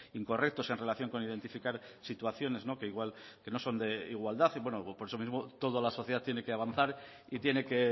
incorrectos en relación con identificar situaciones que no son de igualdad por eso mismo toda la sociedad tiene que avanzar y tiene que